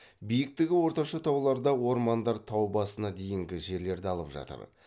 биіктігі орташа тауларда ормандар тау басына дейінгі жерлерді алып жатыр